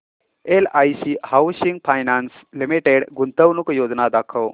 LIC housing finance limited गुंतवणूक योजना दाखव